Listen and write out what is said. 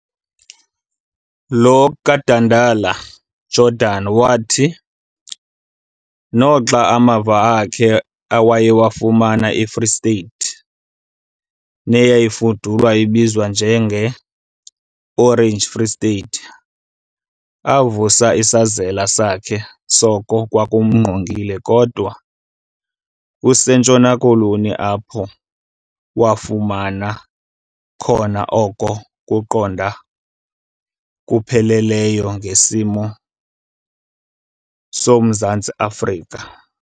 Lo kaDandala- Jordan wathi, noxa amava akhe awayewafumene eFree State, neyayifudula ibizwa njenge Orange Free State , avusa isazela sakhe soko kwakumngqongile kodwa kuseNtshona Koloni apho wafumana khona okona kuqonda kupheleleyo ngesimo soMzantsi Afrika.